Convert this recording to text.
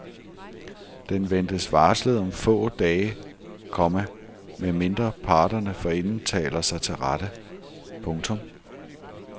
Den ventes varslet om få dage, komma med mindre parterne forinden taler sig til rette. punktum